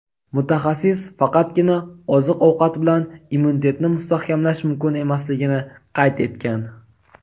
mutaxassis faqatgina oziq-ovqat bilan immunitetni mustahkamlash mumkin emasligini qayd etgan.